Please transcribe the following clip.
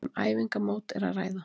Um æfingamót er að ræða.